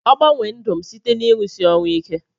Ogbanwe ndụ m site na irusi orụ ike.